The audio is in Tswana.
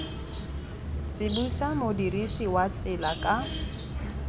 tsibosa modirisi wa tsela ka